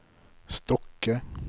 Stokke